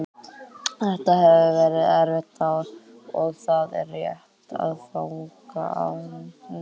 Þetta hefur verið erfitt ár og það er rétt að fagna árangri okkar.